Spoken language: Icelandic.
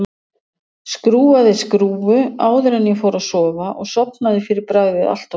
Skrúfaði skrúfu áður en ég fór að sofa og sofnaði fyrir bragðið allt of seint.